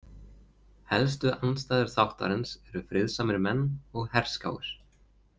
Helstu andstæður þáttarins eru friðsamir menn og herskáir.